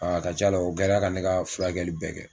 a ka c'a la o kɛrɛ ka ne ka furakɛli bɛɛ kɛ.